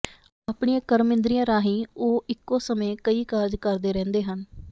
ਆਪਣੀਆਂ ਕਰਮ ਇੰਦਰੀਆਂ ਰਾਹੀਂ ਉਹ ਇਕੋ ਸਮੇਂ ਕਈ ਕਾਰਜ ਕਰਦੇ ਰਹਿੰਦੇ ਹਨ